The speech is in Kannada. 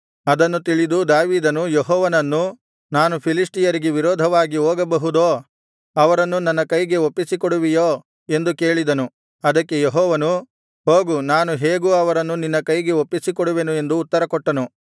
ಅದನ್ನು ತಿಳಿದು ದಾವೀದನು ಯೆಹೋವನನ್ನು ನಾನು ಫಿಲಿಷ್ಟಿಯರಿಗೆ ವಿರೋಧವಾಗಿ ಹೋಗಬಹುದೋ ಅವರನ್ನು ನನ್ನ ಕೈಗೆ ಒಪ್ಪಿಸಿಕೊಡುವಿಯೋ ಎಂದು ಕೇಳಿದನು ಅದಕ್ಕೆ ಯೆಹೋವನು ಹೋಗು ನಾನು ಹೇಗೂ ಅವರನ್ನು ನಿನ್ನ ಕೈಗೆ ಒಪ್ಪಿಸಿಕೊಡುವೆನು ಎಂದು ಉತ್ತರಕೊಟ್ಟನು